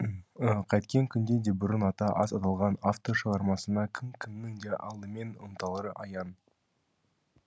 қайткен күнде де бұрын аты аз аталған автор шығармасына кім кімнің де алдымен ұмтылары аян